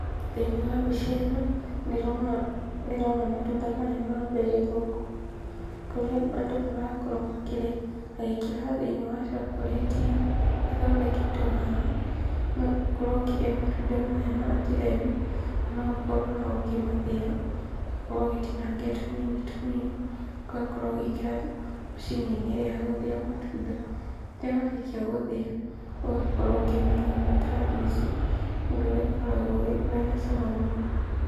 Thĩiniĩ wa mbica ĩno ndĩrona matunda maya ma mberĩ gũkũ kũrĩa andũ marakorwo makĩrĩa magĩkĩraga thĩiniĩ wa cokorĩti-nĩ, ĩno ĩthondeketwo haha. No ũkorwo ũkĩrĩa matunda maya na njĩra ĩno na noũkorwo ũkĩmathĩa,, ũgakorwo ũgĩtinangia tũnini tũnini, ũgakorwo ũgĩkĩra macini-nĩ ĩrĩa ya gũthĩa matunda. Rĩrĩa warĩkia gũthĩa, ũgakorwo ũkĩmanyua meta njuici ũndũ ũrĩa ũkoragwo wĩna cama mũno.